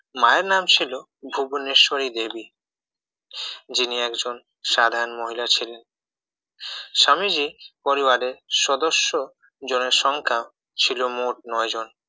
মায়ের নাম ছিল ভুবনেশ্বরী দেবী যিনি একজন সাধারণ মহিলা ছিলেন স্বামীজীর পরিবারে সদস্য জনের সংখ্যা ছিল মোট নয়জন